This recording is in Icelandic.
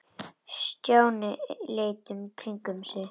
Stjáni leit í kringum sig.